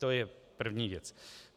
To je první věc.